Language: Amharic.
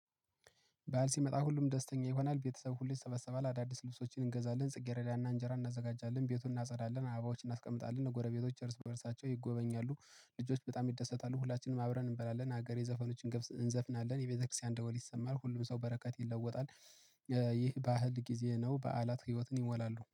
ባል ሲመጣ ሁሉም ደስተኛ ይሆናል ቤተሰብ ሁሌ ይሰበሰባል አዳዲስ ልብሶችን እንገዛለን ጽጌረዳና እንጀራ እናዘጋጃለን ቤቱን እናጸዳለን አበባዎችን እናስቀምጣለን ጎረቤቶች እርስ በእርሳቸው ይጎበኛሉ። ልጆች በጣም ይደሰታሉ ሁላችንም አብረን እንበላለን አገሬ ዘፈኖችን እንዘፍናለን የቤተክርስቲያን ደወል ይሰማል ሁሉም ሰው በረከት ይመጣል። ይህ ባህል ጊዜ ነው በዓላት ህይወትን ይሞላሉ